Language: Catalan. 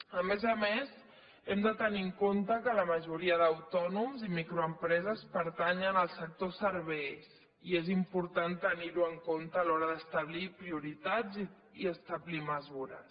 a més a més hem de tenir en compte que la majoria d’autònoms i microempreses pertanyen al sector serveis i és important tenir ho en compte a l’hora d’establir prioritats i establir mesures